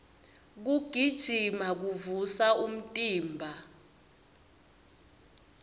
kugijima kuvusa umtimba